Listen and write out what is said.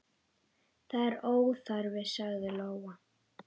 Það er óþarfi, sagði Lóa.